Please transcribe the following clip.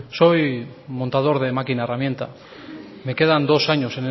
soy montador de máquina herramienta me quedan dos años